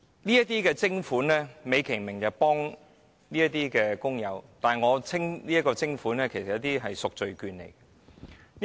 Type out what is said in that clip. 這項徵款美其名目的是協助工友，但我會稱之為贖罪券。